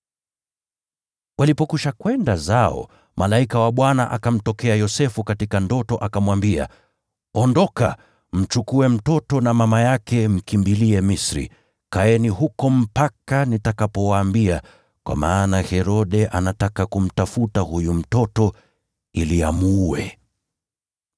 Walipokwisha kwenda zao, malaika wa Bwana akamtokea Yosefu katika ndoto akamwambia, “Ondoka, mchukue mtoto na mama yake mkimbilie Misri. Kaeni huko mpaka nitakapowaambia, kwa maana Herode anataka kumtafuta huyu mtoto ili amuue.”